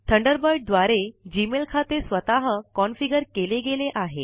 Thunderbird द्वारे Gmail खाते स्वतः कॉन्फ़िगर केले गेले आहे